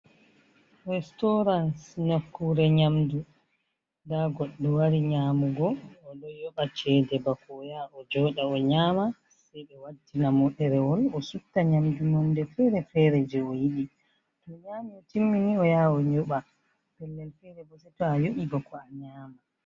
Restaurans nakure nyamdu, da goddu wari nyamugo o do yoba chede bako o yao joda o nyama sei be wattina moderewol o sutta nyamdu mande fere-fere je o yiɗi to nyami o timmini o yawo nyoɓa pellel fere bo seto a yobi bako a nyama.